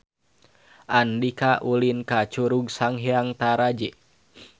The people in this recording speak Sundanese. Andika ulin ka Curug Sanghyang Taraje